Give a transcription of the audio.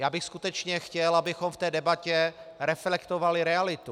Já bych skutečně chtěl, abychom v té debatě reflektovali realitu.